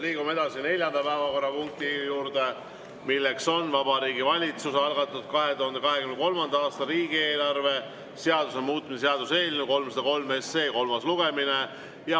Liigume edasi neljanda päevakorrapunkti juurde, mis on Vabariigi Valitsuse algatatud 2023. aasta riigieelarve seaduse muutmise seaduse eelnõu 303 kolmas lugemine.